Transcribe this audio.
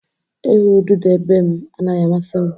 Ịhụ ududo be m anaghị amasị m